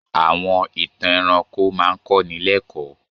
Àwọn ìtàn ẹranko máa ń kọ́ni lẹ́kọ̀ọ́.